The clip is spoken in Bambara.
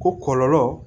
Ko kɔlɔlɔ